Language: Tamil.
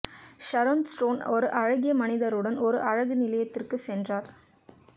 ஷரோன் ஸ்டோன் ஒரு அழகிய மனிதருடன் ஒரு அழகு நிலையத்திற்கு சென்றார்